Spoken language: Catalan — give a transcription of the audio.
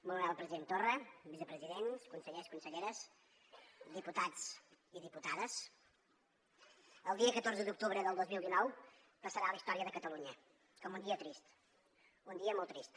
molt honorable president torra vicepresidents consellers conselleres diputats i diputades el dia catorze d’octubre del dos mil dinou passarà a la història de catalunya com un dia trist un dia molt trist